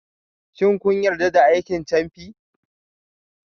Shin kun yarda da aikin camfi?